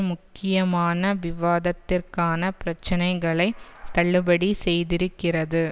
முக்கியமான விவாதத்திற்கான பிரச்சனைகளை தள்ளுபடி செய்திருக்கிறது